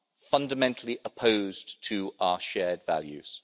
fundamentally opposed to our shared values.